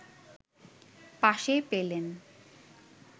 পাশে পেলেন